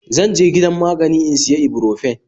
Zanje gidan magani in siya ibuprofen